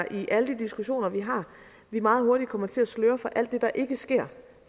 i alle de diskussioner vi har meget hurtigt kommer til at sløre for alt det der ikke sker